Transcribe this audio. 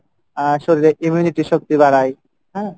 আহ শরীরের immunity শক্তি বাড়াই হ্যাঁ।